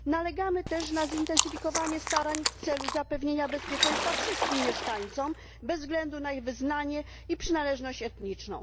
Nalegamy też na zintensyfikowanie starań w celu zapewnienia bezpieczeństwa wszystkim mieszkańcom, bez względu na ich wyznanie i przynależność etniczną.